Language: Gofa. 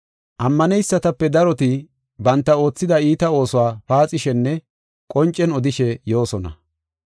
Ammaneysatape daroti banta oothida iita oosuwa paaxishenne qoncen odishe yoosona.